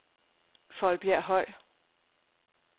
Foldbjerg Høj